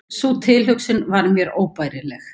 Sú tilhugsun var mér óbærileg.